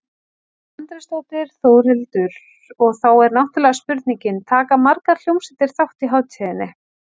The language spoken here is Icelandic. Edda Andrésdóttir: Þórhildur, og þá er náttúrulega spurningin, taka margar hljómsveitir þátt í hátíðinni?